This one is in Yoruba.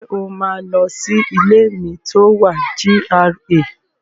Ṣé o máa lọ sí ilé mi tó wà GRA?